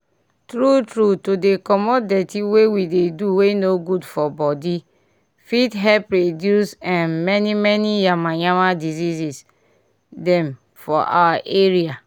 tru tru to dey comot dirty wey we dey do wey no good for body fit help reduce eh many many yamayama diseases dem for our area